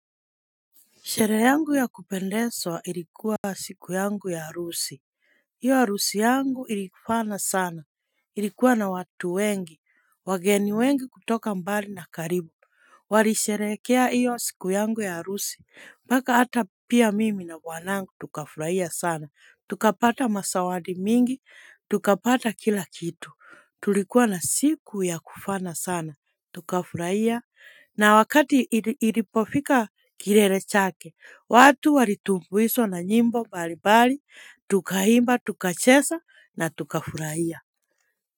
Sherehe yangu ya kupendezwa ilikuwa siku yangu ya harusi, hiyo harusi yangu ilifana sana, ilikuwa na watu wengi, wageni wengi kutoka mbali na karibu. Walisherehekea hiyo siku yangu ya harusi, mpaka hata pia mimi na bwanangu tukafurahia sana, tukapata mazawadi mingi, tukapata kila kitu, tulikuwa na siku ya kufana sana, tukafurahia, na wakati ilipofika kilele chake. Watu walitumbuzwa na nyimbo mbali mbali, tukaimba, tukacheza na tukafurahia.